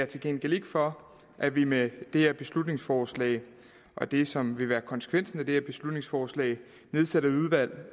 til gengæld ikke for at vi med det her beslutningsforslag og det som vil være konsekvensen af det her beslutningsforslag nedsætter et udvalg